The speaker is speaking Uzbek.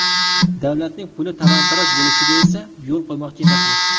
Davlatning puli talon-taroj bo‘lishiga esa yo‘l qo‘ymoqchi emasmiz.